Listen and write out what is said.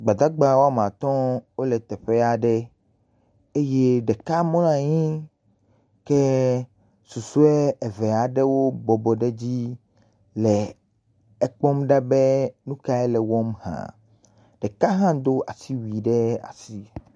Gbadagba wo ame atɔ̃ wole teƒe aɖe. Eye ɖeka mlɔ anyi ke susɔe eve aɖewo bɔbɔ ɖe dzi le ekpɔm ɖa be nu kae le wɔm hã. Ɖeka hã do asiwui ɖe asi.